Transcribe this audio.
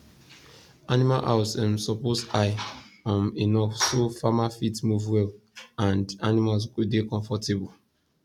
animal house um suppose high um enough so farmer fit move well and animals go dey comfortable